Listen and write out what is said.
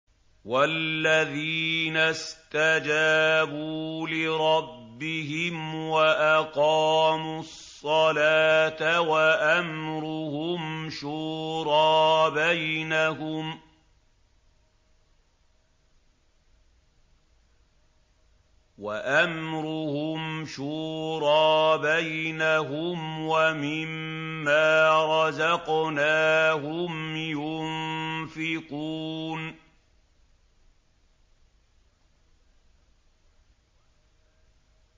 وَالَّذِينَ اسْتَجَابُوا لِرَبِّهِمْ وَأَقَامُوا الصَّلَاةَ وَأَمْرُهُمْ شُورَىٰ بَيْنَهُمْ وَمِمَّا رَزَقْنَاهُمْ يُنفِقُونَ